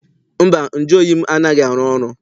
Mba, nju oyi m anaghị arụ ọrụ.